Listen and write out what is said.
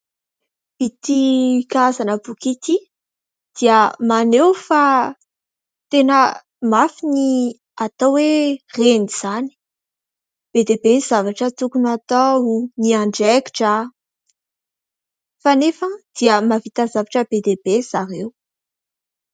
Ity karazana boky ity dia maneho fa tena mafy ny atao hoe Reny izany, be dia be ny zavatra tokony hatao ny andraikitra kanefa dia mahavita zavatra be dia be zareo.